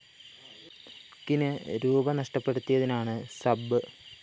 ക്കിന് rupee നഷ്ടപ്പെടുത്തിയതിനാണ് sub